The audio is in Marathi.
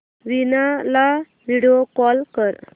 वीणा ला व्हिडिओ कॉल कर